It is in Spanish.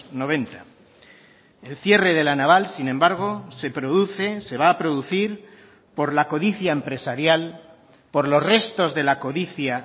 noventa el cierre de la naval sin embargo se produce se va a producir por la codicia empresarial por los restos de la codicia